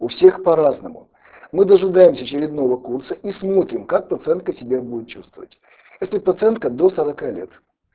у всех по-разному мы дожидаемся очередного курса и смотрим как пациентка себя будет чувствовать эта пациентка до сорока лет